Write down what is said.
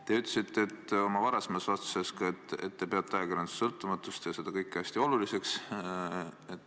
Te ütlesite oma varasemas vastuses, et te peate ajakirjanduse sõltumatust ja seda kõike hästi oluliseks.